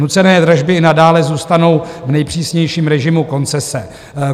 Nucené dražby i nadále zůstanou v nejpřísnějším režimu koncese.